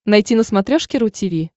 найти на смотрешке ру ти ви